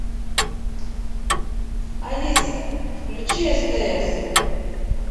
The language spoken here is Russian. алиса включи стс